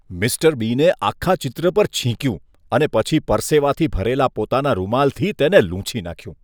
Mister બીને આખા ચિત્ર પર છીંક્યું અને પછી પરસેવાથી ભરેલા પોતાના રૂમાલથી તેને લૂછી નાખ્યું.